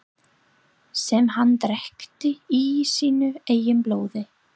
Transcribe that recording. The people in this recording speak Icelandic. Sem hann drekkti í sínu eigin blóði.